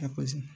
A